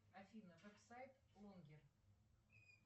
афина веб сайт лонгер